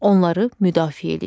Onları müdafiə eləyir.